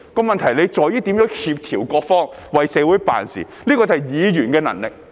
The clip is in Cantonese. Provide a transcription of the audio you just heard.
問題在於如何協調各方，為社會辦事，這是議員的能力。